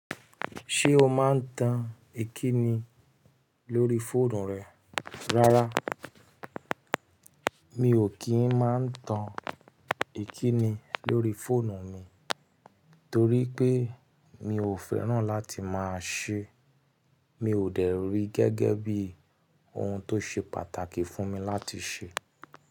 Ṣé o máa ń tan ìkíni lórí fóònù rẹ rárá? Mi ò kí ń máa ń tan ìkíni lórí fóònù mi torí pé mi ò fẹ́ràn láti máa ṣé, mi ò dẹ̀ rí gẹ́gẹ́ bí ohun tó ṣe pàtàkì fún mi láti ṣe.